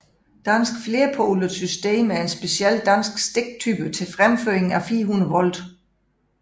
Dansk flerpolet system er en speciel dansk stiktype til fremføring af 400 volt